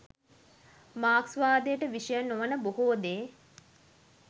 මාක්ස්වාදයට විෂය නොවන බොහෝ දේ